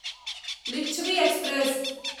Licchavi express